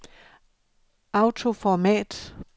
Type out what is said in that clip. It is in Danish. autoformat